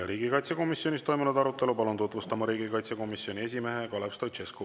Riigikaitsekomisjonis toimunud arutelu palun tutvustama riigikaitsekomisjoni esimehe Kalev Stoicescu.